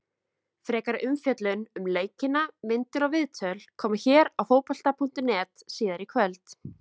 Frekari umfjöllun um leikina, myndir og viðtöl, koma hér á Fótbolta.net síðar í kvöld.